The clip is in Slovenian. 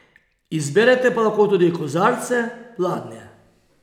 Izberete pa lahko tudi kozarce, pladnje ...